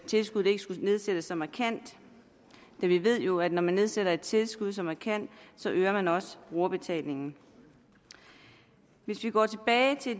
tilskuddet ikke skulle nedsættes så markant vi ved jo at når man nedsætter et tilskud så markant øger man også brugerbetalingen hvis vi går tilbage til